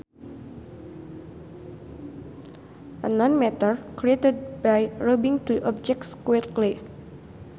A non matter created by rubbing two objects quickly